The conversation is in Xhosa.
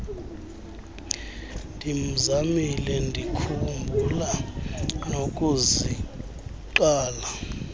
ndimzamile ndikhumbula nokuziqala